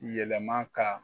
Yɛlɛma ka